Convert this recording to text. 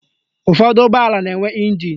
Ụfọdụ ụgbọala na-enwe ịnjin